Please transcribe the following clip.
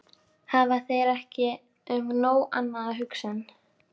Hafa þeir ekki um nóg annað að hugsa en.